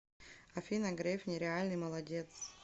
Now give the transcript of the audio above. афина греф нереальный молодец